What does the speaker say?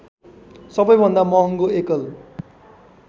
सबैभन्दा महङ्गो एकल